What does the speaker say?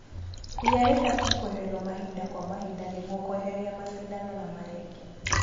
Ria rĩbatie kweherio mahinda kwa mahinda nĩguo kweheria macindano na marenge.